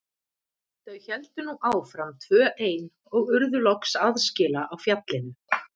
Þau héldu nú áfram tvö ein og urðu loks aðskila á fjallinu.